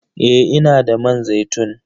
Eh, ina da man zaitun.